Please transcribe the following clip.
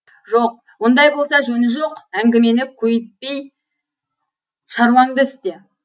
жоқ ондай болса жөні жоқ әңгімені көйітпей шаруаңды істе